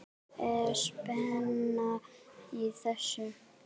Er spenna í þessu?